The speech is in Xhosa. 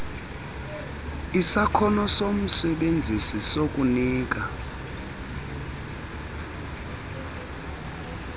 isakhono somsebenzisi sokunika